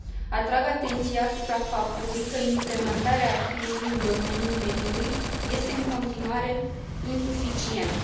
Atrag atenția asupra faptului că implementarea acquis ului în domeniul mediului este în continuare insuficientă.